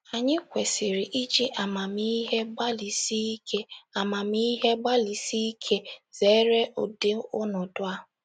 Anyị kwesịrị iji amamihe gbalịsi ike amamihe gbalịsi ike zere ụdị ọnọdụ a.